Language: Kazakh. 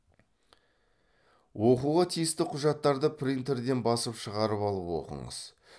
оқуға тиісті құжаттарды принтерден басып шығарып алып оқыңыз